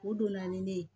O donna ni ne ye